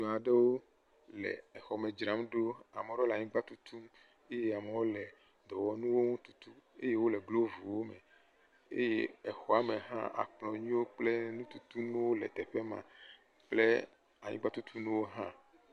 Ame aɖewo le xɔ me dzram ɖo . Ame le aɖewo anyigba tutum eye ame aɖewo le dɔwɔnu tutum eye wole blu ƒom eye exɔa me hã akplɔnuwo kple anyigba tutu nuwo le teƒe ma awu.